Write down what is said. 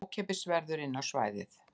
Ókeypis verður inn á svæðið